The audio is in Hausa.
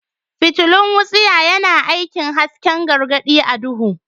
Fitilun wutsiya yana aikin hasken gargadi a duhu.